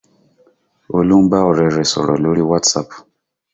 Olú ń bá ọ̀rẹ́ rẹ̀ sọ̀rọ̀ lórí WhatsApp